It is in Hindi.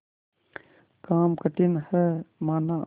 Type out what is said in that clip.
काम कठिन हैमाना